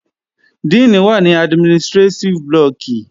Díìnì wà ní administrétíf blọọ̀kì